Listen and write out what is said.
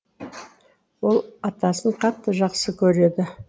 ол атасын қатты жақсы көреді